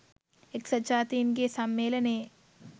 එක්සත් ජාතින්ගේ සම්මේලනයේ